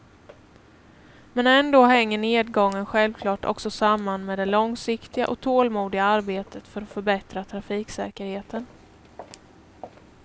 Men ändå hänger nedgången självklart också samman med det långsiktiga och tålmodiga arbetet för att förbättra trafiksäkerheten.